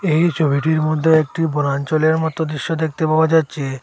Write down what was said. এই ছবিটির মধ্যে একটি বনাঞ্চলের মতো দৃশ্য দেখতে পাওয়া যাচ্ছে।